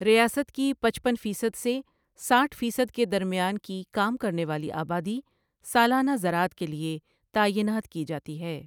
ریاست کی پچپن فیصد سے ساٹھ فیصد کے درمیان کی کام کرنے والی آبادی سالانہ زراعت کے لیے تعینات کی جاتی ہے۔